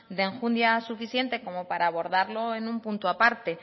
de enjundia suficiente como abordarlo en un punto a parte